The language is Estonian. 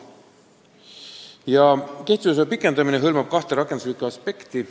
Digi-ID kehtivusaja pikendamine hõlmab kahte rakenduslikku aspekti.